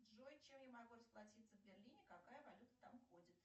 джой чем я могу расплатиться в берлине какая валюта там ходит